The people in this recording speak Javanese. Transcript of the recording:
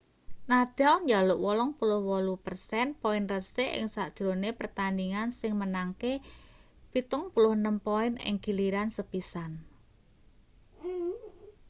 nadal njaluk 88% poin resik ing sajrone pertandhingan sing menangke 76 poin ing giliran sepisan